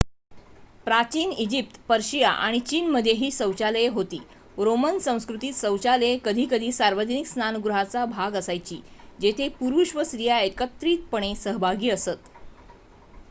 प्राचीन Egypt Persia आणि चीनमध्येही शौचालये होती रोमन संस्कृतीत शौचालये कधीकधी सार्वजनिक स्नानगृहांचा भाग असायची जेथे पुरुष व स्त्रिया एकत्रितपणे सहभागी असत